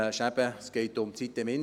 Es geht um die sitem-insel.